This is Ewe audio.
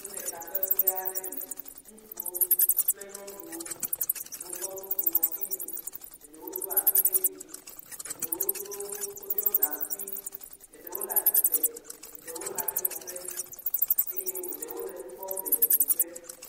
Wole takpekpea ɖe me. Ŋutsuwo, nyɔnuwo, wokɔ nu bu ŋɔti nu, eɖewo do asi ɖe dzi, eɖewo do asi ɖe dzi, eɖewo ɖɔ gankui, eɖewo le atsitre, eɖewo le anyi nɔƒe eye eɖewo le nu kpɔm le didi ƒe.